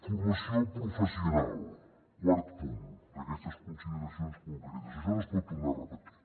formació professional quart punt d’aquestes consideracions concretes això no es pot tornar a repetir